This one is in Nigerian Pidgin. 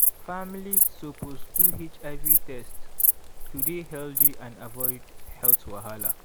families suppose do hiv test to dey healthy and avoid health wahala.